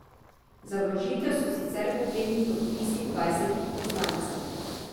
Za vložitev so sicer potrebni podpisi dvajsetih poslancev.